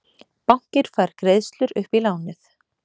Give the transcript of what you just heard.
Bankinn fær greiðslur upp í lánið